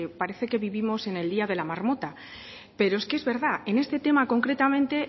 parece que vivimos en el día de la marmota pero es que es verdad en este tema concretamente